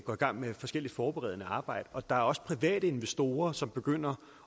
går i gang med forskelligt forberedende arbejde og der er også private investorer som begynder